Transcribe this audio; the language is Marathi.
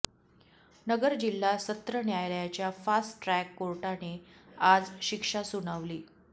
नगर जिल्हा सत्र न्यायालयाच्या फास्ट ट्रॅक कोर्टाने आज शिक्षा सुनावली